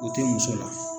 O tɛ muso la